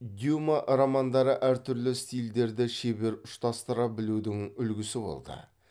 дюма романдары әр түрлі стильдерді шебер ұштастыра білудің үлгісі болды